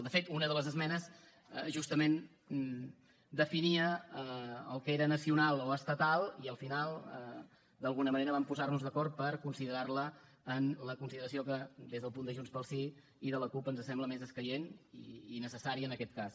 de fet una de les esmenes justament definia el que era nacional o estatal i al final d’alguna manera vam posar nos d’acord per considerar la en la consideració que des del punt de junts pel sí i de la cup ens sembla més escaient i necessària en aquest cas